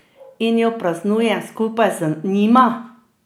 In jo praznujem skupaj z njima!